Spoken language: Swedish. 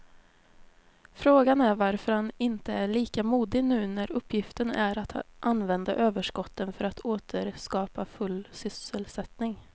Frågan är varför han inte är lika modig nu när uppgiften är att använda överskotten för att åter skapa full sysselsättning.